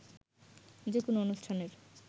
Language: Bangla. যে কোনো অনুষ্ঠানের